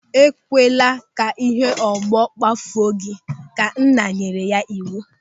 "E kwala ka ịhe ọgbọ kpafuo gị! " Ka nna nyere ya n'iwu.